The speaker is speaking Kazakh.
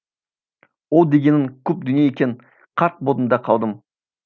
ол дегенің көп дүние екен қарқ болдым да қалдым